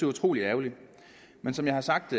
utrolig ærgerligt men som jeg har sagt